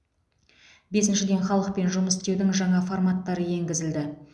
бесіншіден халықпен жұмыс істеудің жаңа форматтары енгізілді